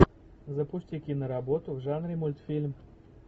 запусти киноработу в жанре мультфильм